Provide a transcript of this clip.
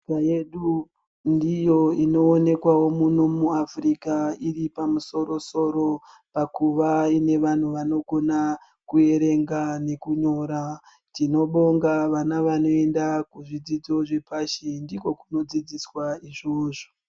Nyika yedu ndiyo ino onekwa muno muafrica iri pamusoro soro pakuva ine vanhu vanogona kuverenga nekunyora tinobonga vanoenda kuzvidzidzo zvepashi ndiko kuno dzidziswa izvozvo.